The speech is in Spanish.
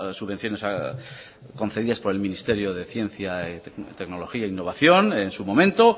subvenciones concedidas por el ministerio de ciencia tecnología e innovación en su momento